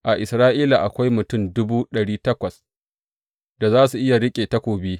A Isra’ila akwai mutum dubu ɗari takwas da za su iya riƙe takobi.